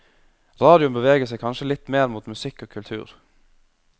Radioen beveger seg kanskje litt mer mot musikk og kultur.